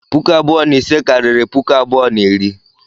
Puku abụọ na ise karịrị puku abụọ na iri.